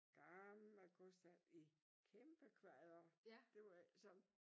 Gammel kostald i kæmpekvader det var ikke sådan